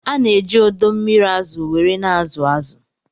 Ana eji odo mmiri azụ were na azụ azụ